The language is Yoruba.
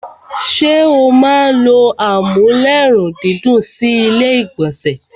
ṣé o máa n ló amúlérùndídùn sí ilé ìgbọ̀nsẹ̀?